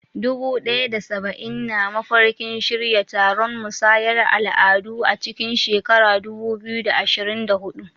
Dubu ɗaya da saba'in na mafarkin shirya taron musayar al'adu a cikin shekarar 2024.